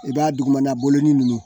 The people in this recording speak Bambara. I b'a dugumana bolonɔ ninnu